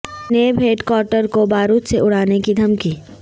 NAB head quarter کو بارود سے اڑانے کی دھمکی